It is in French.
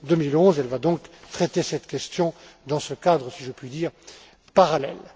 2011. Elle va donc traiter cette question dans ce cadre, si je puis dire, parallèle.